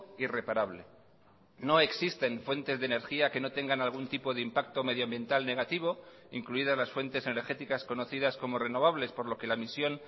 y reparable no existen fuentes de energía que no tengan algún tipo de impacto medioambiental negativo incluidas las fuentes energéticas conocidas como renovables por lo que la misión